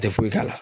Tɛ foyi k'a la